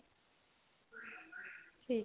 ਠੀਕ